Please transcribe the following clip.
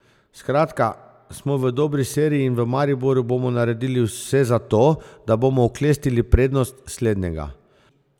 Skratka, smo v dobri seriji in v Mariboru bomo naredili vse za to, da bomo oklestili prednost slednjega.